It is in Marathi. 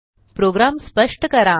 प्रोग्राम स्पष्ट करा